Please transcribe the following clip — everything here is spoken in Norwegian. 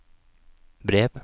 brev